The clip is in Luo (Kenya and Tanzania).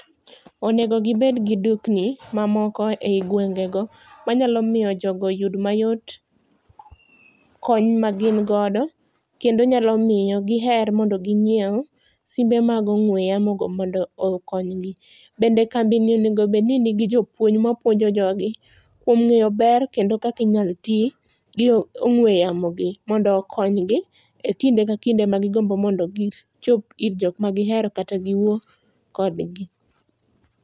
Onego gibed gi dukni mamoko e gwengego, manyalo miyo jogo oyud mayot kony ma gin godo. Kendo nyalo miyo giher mondo ginyiew simbe mag ong'we yamo go mondo okonygi. Bendo kambi ni onego bed ni nigi jopuonj mapuonjo jogi kuom ngéyo ber, kendo kaka inyalo ti gi ong'we yamo gi mondo okonygi, e kinde ka kinde magigombo mondo gichop ir jok ma gihero kata giwuo kodgi.